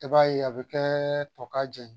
I b'a ye a bɛ kɛ tɔ k'a jɛ ye